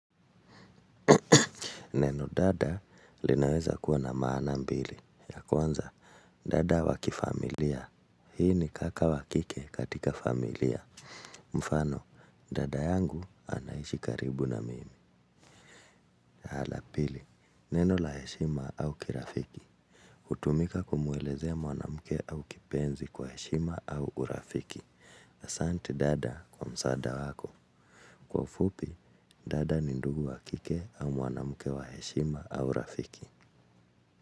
Neno dada linaweza kuwa na maana mbili, ya kwanza dada wakifamilia, hii ni kaka wakike katika familia, mfano dada yangu anaishi karibu na mimi. Na la pili, neno laheshima au kirafiki, hutumika kumuelezea mwanamke au kipenzi kwa heshima au urafiki, asante dada kwa msaada wako, kwa ufupi dada ni ndugu wakike au mwanamke wa heshima au rafiki.